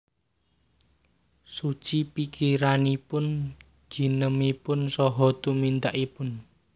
Suci pikiranipun ginemipun saha tumindakipun